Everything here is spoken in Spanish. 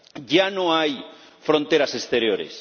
Ya no hay fronteras exteriores.